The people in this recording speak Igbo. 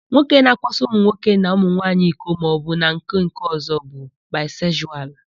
Nwoke na-akwaso ụmụnwoke na ụmụnwanyi iko maọbụ n'aka nkeọ̀zọ́ bụ baịsekzualu.